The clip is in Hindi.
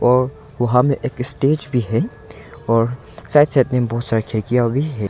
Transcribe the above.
और वहां में एक स्टेज भी है और साइड साइड में बहुत सारी खिड़कियां भी है।